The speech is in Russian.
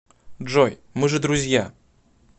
джой мы же друзья